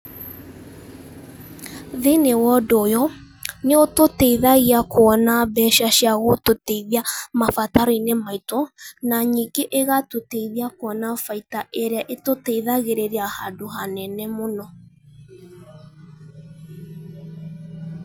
Thĩ-inĩ wa ũndũ ũyũ nĩ ũtũteithagia kuona mbeca cia gũtũteithia mabataro-inĩ maitũ na nyingĩ ĩgatũteithia kuona baida ĩrĩa ĩtũteithagĩrĩria handũ hanene mũno